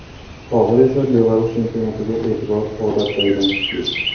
Hozir esa Belarus chempionatiga e’tibor odatdagidan kuchli.